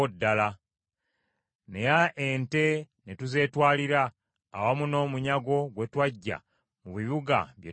Naye ente ne tuzeetwalira awamu n’omunyago gwe twaggya mu bibuga bye twawamba.